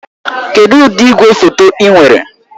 Kedụ ụdị igwefoto ị nwere?